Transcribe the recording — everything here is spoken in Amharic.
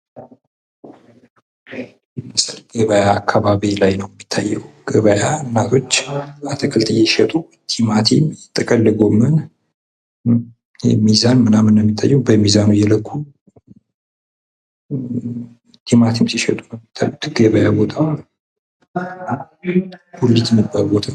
ይህ ምስል ገበያ አካባቢ ላይ ነው የሚታየው:: ገበያ እናቶች አትክልት እየሸጡ ቲማቲም፣ ጥቅል ጎመን ሚዛን ምናምን ነው የሚታየው በሚዛኑ እየለኩ ቲማቲም ሲሸጡ ነው የሚታዩት ገበያ ቦታ ጉሊት የሚባል ቦታ ነው::